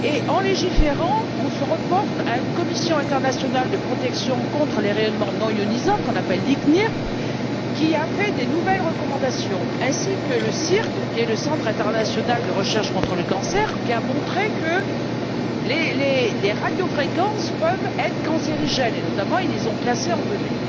En légiférant, on se reporte à une Commission internationale de protection contre les rayonnements non ionisants, appelle ICNIRP, qui a fait des nouvelles recommandations, ainsi que le CIRC, à savoir le Centre international de recherche contre le cancer, qui a montré que les radiofréquences peuvent être cancérigènes, et qu'ils ont notamment classées en 2B.